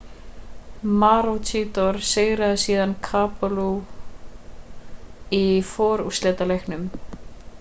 maroochydore sigraði síðan caboolture í forúrslitaleiknum